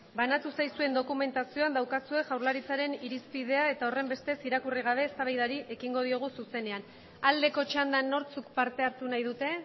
banatu zaizuen dokumentazioan daukazue jaurlaritzaren irizpidea eta horren bestez irakurri gabe eztabaidari ekingo diogu zuzenean aldeko txandan nortzuk parte hartu nahi dute